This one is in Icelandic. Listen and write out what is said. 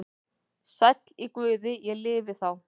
Sæll í Guði ég lifi þá.